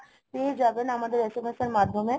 পেয়ে যাবেন আমাদের SMS এর মাধ্যমে